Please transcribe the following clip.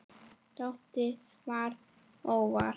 Tóti svaf óvært.